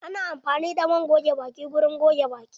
Ana amfani da man goge baki wurin goge baki.